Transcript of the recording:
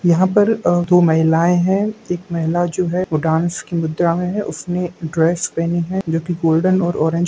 यहा पर दो महिलाएं हैं एक महिला जो है वो डांस की मुद्रा में है उसने ड्रेस पहनी है जो कि गोल्डेन और ऑरेंज --